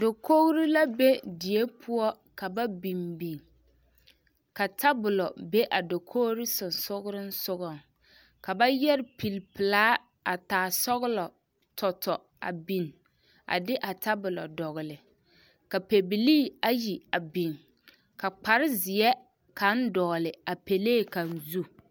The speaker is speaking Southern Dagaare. Dakogiri la be die poɔ ka ba biŋ biŋ ka tabolo be a dakogiri sonsogerensogɔŋ, ka ba yɛre pili pelaa a taa sɔgelɔ tɔtɔ a biŋ a de a tabolo dɔgele ka pɛbilii ayi a biŋ ka kpare zeɛ kaŋ dɔgele a pelee kaŋ zu.